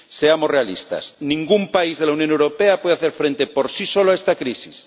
Seamos realistas, ningún país de la Unión Europea puede hacer frente por sí solo a esta crisis.